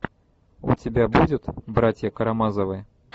у тебя будет братья карамазовы